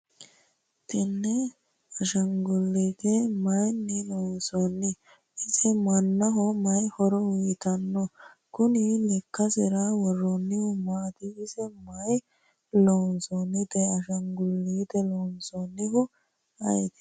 tenne ashaanguliite mayiinni loonsanni? ise mannaho mayi horo uyiitano? kuni lekkasera worroonnihu maati? ise mayiira loonsoonnite? ashaanguliite loosannohu ayeeti ?